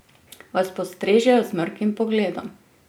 Vas postrežejo z mrkim pogledom?